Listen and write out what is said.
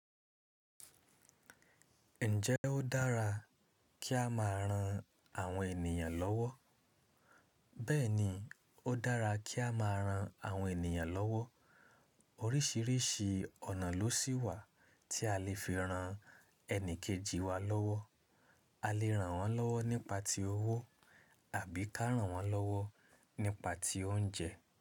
Ǹjẹ́ ó dára kí a máa ran àwọn ènìyàn lọ́wọ́? Bẹ́ẹ̀ni, ó dára kí a máa ran àwọn ènìyàn lọ́wọ́. Oríṣìíríṣìí ọ̀nà ló sì wà tí a lè fi ran ẹni kejì wa lọ́wọ́. A lè ràn wọ́n lọ́wọ́ nípa ti owó àbí ká ràn wọ́n lọ́wọ́ nípa tí oúnjẹ.